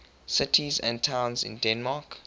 cities and towns in denmark